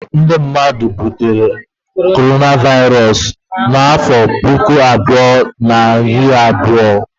Ọtụtụ ndị mmadụ jidere Coronavirus n'afọ puku abụọ na iri abụọ